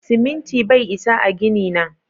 Siminti bai isa a gini na.